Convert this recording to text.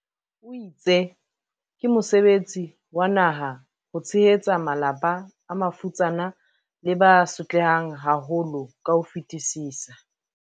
o itse ke mo sebetsi wa naha ho tshehetsa malapa a mafutsana le ba so tlehang haholo ka ho fetisisa.